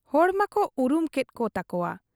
ᱦᱚᱲ ᱢᱟᱠᱚ ᱩᱨᱩᱢ ᱠᱮᱫ ᱠᱚ ᱛᱟᱠᱚᱣᱟ ᱾